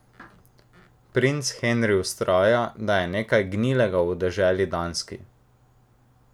Princ Henri vztraja, da je nekaj gnilega v deželi Danski.